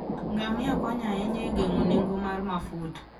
Ngamia konyo ahinya e geng'o nengo mar mafuta.